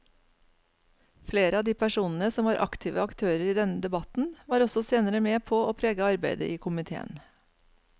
Flere av de personene som var aktive aktører i denne debatten var også senere med på å prege arbeidet i komiteen.